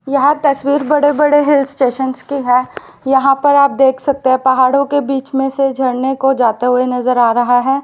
यह तस्वीर बड़े बड़े हिल स्टेशन की है यहां पर आप देख सकते हैं पहाड़ों के बीच में से झरने को जाते हुए नजर आ रहा है।